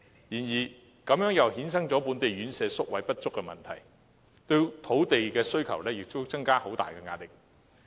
這亦衍生了本地院舍宿位不足的問題，並對土地的需求增加了很大壓力。